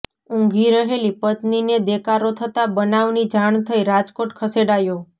ઉંઘી રહેલી પત્નિને દેકારો થતાં બનાવની જાણ થઇઃ રાજકોટ ખસેડાયો